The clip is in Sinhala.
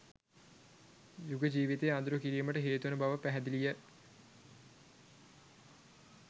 යුග ජීවිතය අඳුරු කිරීමට හේතුවන බව පැහැදිලිය